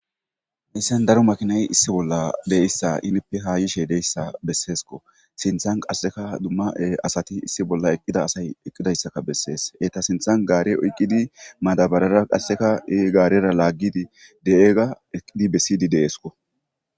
hayssan daro makinay issi bolla de'issa henippe ha yishe de'issa besseesko sinthan qasseka dumma asati issi bolla eqqida asay eqqidayssaka bessees eta sinthan gaare oyqqidi madabarara qasseka gaarera laaggidi de'ega eqqidi bessidi deesko